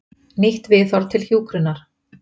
Nýtt viðhorf til hjúkrunar.